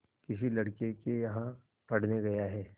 किसी लड़के के यहाँ पढ़ने गया है